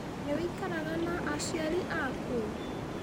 Nĩwĩikaraga na aciari aku?